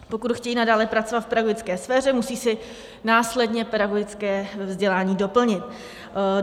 Pokud chtějí nadále pracovat v pedagogické sféře, musí si následně pedagogické vzdělání doplnit.